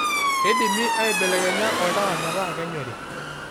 keidimi aibelekenya oltaa metaa kenyori